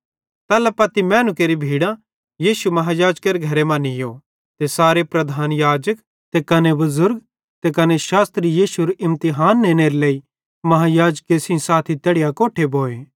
तैल्ला पत्ती मैनू केरि भीड़ां यीशु महायाजकेरे घरे मां नीयो ते सारे प्रधान याजक ते कने बुज़ुर्ग त कने शास्त्री यीशुएरू इमतिहान नेनेरे लेइ महायाजके सेइं साथी तैड़ी अकोट्ठे भोए